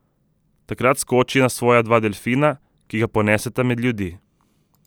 Takrat skoči na svoja dva delfina, ki ga poneseta med ljudi.